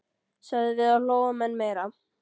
sögðum við og hlógum enn meira.